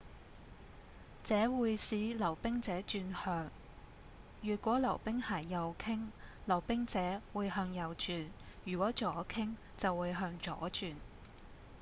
這會使溜冰者轉向如果溜冰鞋右傾溜冰者會向右轉如果左傾就會向左轉